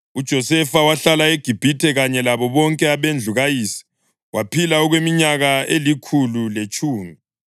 UJosefa wahlala eGibhithe kanye labo bonke abendlu kayise. Waphila okweminyaka elikhulu letshumi,